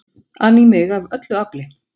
an í mig af öllu afli.